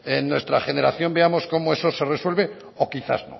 en nuestra generación veamos como eso se resuelve o quizás